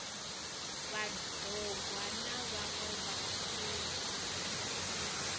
vhad ogwa na vhaṋwe vhasuthu